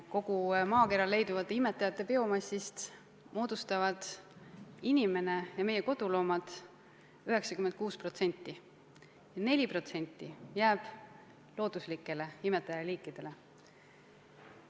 Kogu maakeral leiduvate imetajate biomassist moodustavad inimene ja meie koduloomad 96%, 4% jääb looduslikele imetajaliikidele.